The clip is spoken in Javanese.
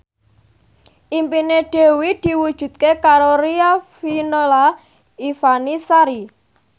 impine Dewi diwujudke karo Riafinola Ifani Sari